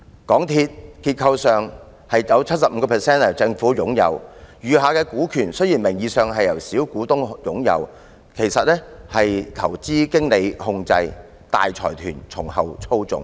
結構上，政府擁有港鐵公司 75% 的股權，雖然餘下的股權名義上是由小股東擁有，但其實是由投資經理控制，大財團從後操縱。